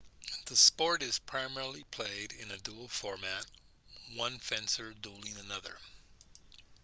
the sport is primarily played in a duel format one fencer dueling another